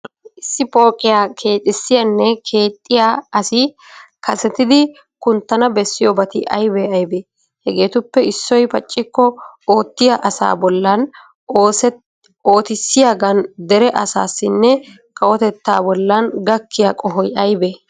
Issi pooqiya keexissiyanne keexxiya asi kasetidi kunttana bessiyobati aybee aybee? Hageetuppe issoy paccikko ottiya asaa bollan, ootissiyagan, Dere asaaninne kawotettaa bollan gakkiya qohoy aybee?